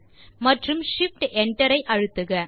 மற்றும் shift enter ஐ அழுத்துக